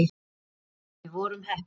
En við vorum heppin.